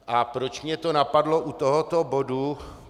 A proč mě to napadlo u tohoto bodu?